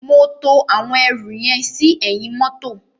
Mo to àwọn ẹrù yẹn sí ẹ̀yìn mọ́tọ̀.